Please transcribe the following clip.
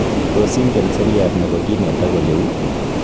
Tis ingen seriat nebo kinet ak oleu?